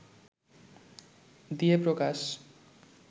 দিয়ে প্রকাশ